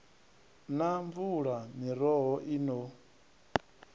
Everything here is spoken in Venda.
na mvula miroho i no